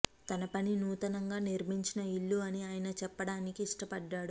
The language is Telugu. తన పని నూతనంగా నిర్మించిన ఇల్లు అని ఆయన చెప్పడానికి ఇష్టపడ్డాడు